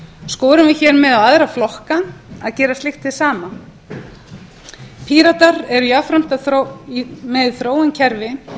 skorum við hér með á aðra flokka að gera slíkt hið sama píratar eru jafnframt með í þróun kerfi